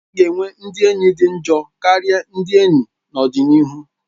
A ga-enwe ndị enyi dị njọ karịa ndị enyi n'ọdịnihu